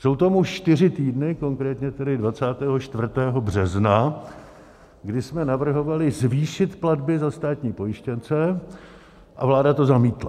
Jsou tomu čtyři týdny, konkrétně tedy 24. března, kdy jsme navrhovali zvýšit platby za státní pojištěnce a vláda to zamítla.